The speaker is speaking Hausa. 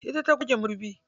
Ita ta goge madubi.